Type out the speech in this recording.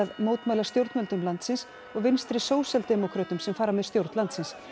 mótmæla stjórnvöldum landsins og vinstri sósíaldemókrötum sem fara með stjórn landsins